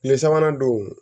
Tile sabanan don